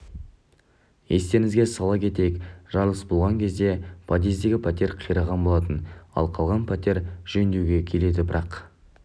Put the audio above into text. естеріңізге сала кетейік жарылыс болған кезде подъездегі пәтер қираған болатын ал қалған пәтер жөндеуге келеді бірақ